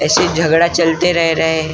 ऐसे झगड़ा चलते रह रहे।